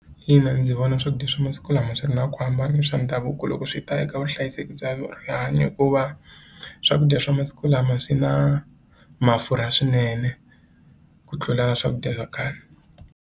Ina ndzi vona swakudya swa masiku lama swi ri na ku hambana na swa ndhavuko loko swi ta eka vuhlayiseki bya rihanyo hikuva swakudya swa masiku lama swi na mafurha swinene ku tlula swakudya swa kahle.